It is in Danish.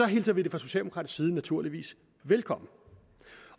hilser vi det fra socialdemokratisk side naturligvis velkommen